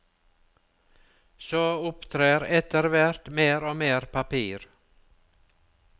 Så opptrer efterhvert mer og mer papir.